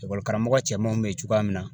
Ekɔlikaramɔgɔ cɛmanw bɛ yen cogoya min na